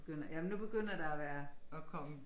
Begynder jamen nu begynder der at være at komme